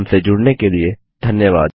हमसे जुड़ने के लिए धन्यवाद